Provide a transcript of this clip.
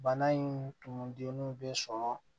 Bana in tun denun bɛ sɔrɔ